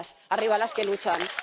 ¡Arriba las que luchan!